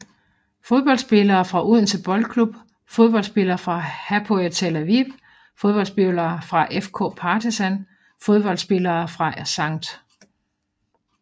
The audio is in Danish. Fodboldspillere fra Odense Boldklub Fodboldspillere fra Hapoel Tel Aviv Fodboldspillere fra FK Partizan Fodboldspillere fra St